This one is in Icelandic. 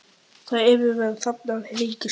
Þar yfir var hrafnager að hringsóla.